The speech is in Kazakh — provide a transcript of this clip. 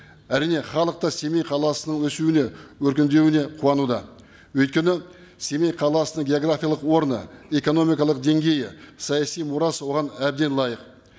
әрине халық та семей қаласының өсуіне өркендеуіне қуануда өйткені семей қаласының географиялық орны экономикалық деңгейі саяси мұрасы оған әбден лайық